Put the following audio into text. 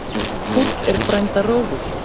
Fúll er frænda rógur.